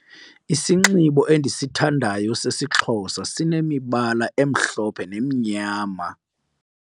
Isinxibo endisithandayo sesiXhosa sesinemibala emhlophe nemnyama.